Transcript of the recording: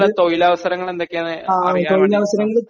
തൊഴിലവസരങ്ങള് എന്തൊക്കെയാ എന്ന് അറിയാൻ വേണ്ടിയിട്ടാ